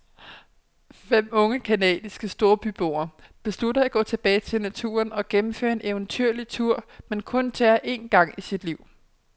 Fem unge canadiske storbyboer beslutter at gå tilbage til naturen og gennemføre en eventyrlig tur, man kun tager én gang i sit liv.